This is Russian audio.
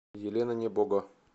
елена небого